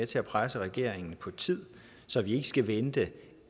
til at presse regeringen på tid så vi ikke skal vente